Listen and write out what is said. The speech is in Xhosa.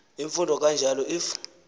imfundo kanjalo if